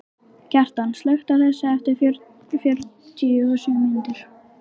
Kjartan, slökktu á þessu eftir fjörutíu og sjö mínútur.